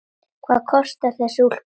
Hvað kostar þessi úlpa?